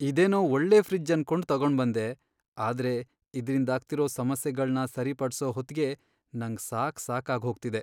ಇದೇನೋ ಒಳ್ಳೆ ಫ್ರಿಡ್ಜ್ ಅನ್ಕೊಂಡ್ ತಗೊಂಡ್ಬಂದೆ, ಆದ್ರೆ ಇದ್ರಿಂದಾಗ್ತಿರೋ ಸಮಸ್ಯೆಗಳ್ನ ಸರಿಪಡ್ಸೋ ಹೊತ್ಗೇ ನಂಗ್ ಸಾಕ್ಸಾಗ್ಹೋಗ್ತಿದೆ.